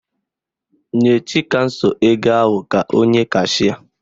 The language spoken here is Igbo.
Nye Chikamso ego ahụ ka o nye kashịa